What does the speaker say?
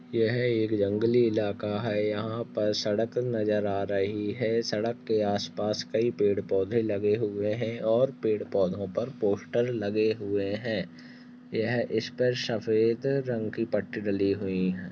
यह एक जंगली इलाका है यहाँ पर सड़क नजर आ रही है सड़क के आस पास कई पेड़ पौध लगे हुए है और पेड़ पौधों पर पोस्टर लगे हुए है यह ईश पर सफेद रंग की पट्टी डली हुई है।